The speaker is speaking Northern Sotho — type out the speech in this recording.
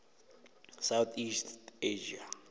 south east asia